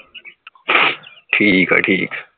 ਠੀਕ ਆ ਠੀਕ